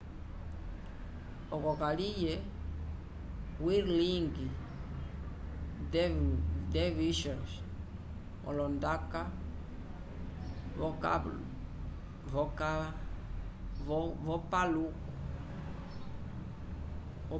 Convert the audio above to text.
oco kaliye whirling dervishes walonda k'opaluku